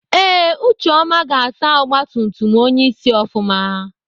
Ee ucheọma ga-asa ọgbatumtum onyeisi ofụma.